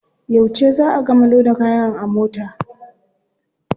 Yauce za a gama loda kaya a mota?